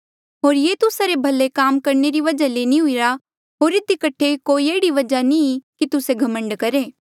होर ये तुस्सा रे भले काम करणे री वजहा ले नी हुईरा होर इधी कठे कोई एह्ड़ी वजहा नी कि तुस्से घमंड करहे